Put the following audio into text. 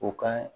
U ka